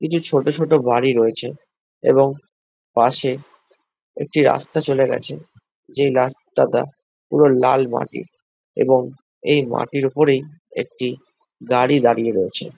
কিছু ছোট ছোট বাড়ি এবং পাশে একটি রাস্তা চলে গেছে যেই রাস্তাটা পুরো লাল মাটির এবং এই মাটির ওপরেই একটি গাড়ী দাঁড়িয়ে রয়েছে।